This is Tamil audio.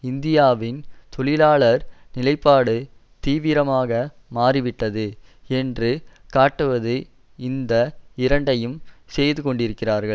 இந்தியாவின் தொழிலாளர் நிலைப்பாடு தீவிரமாக மாறிவிட்டது என்று காட்டுவது இந்த இரண்டையும் செய்து கொண்டிருக்கிறார்கள்